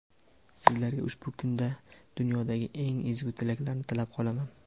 Sizlarga ushbu kunda dunyodagi eng ezgu tilaklarni tilab qolaman.